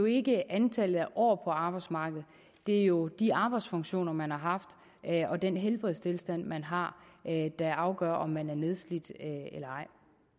ikke antallet af år på arbejdsmarkedet det er jo de arbejdsfunktioner man har haft og den helbredstilstand man har der afgør om man er nedslidt eller ej